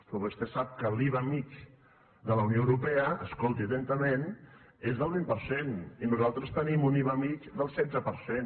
però vostè sap que l’iva mitjà de la unió europea escolti atentament és del vint per cent i nosaltres tenim un iva mitjà del setze per cent